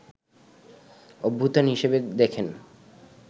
অভ্যুত্থান হিসেবে দেখেন